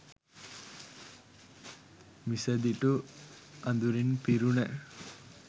මිසදිටු අඳුරින් පිරුණ